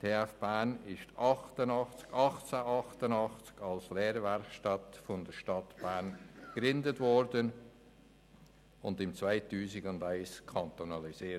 Die TF Bern wurde 1888 von der Stadt Bern gegründet und 2001 kantonalisiert.